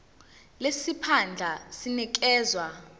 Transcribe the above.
lesi siphandla sinikezwa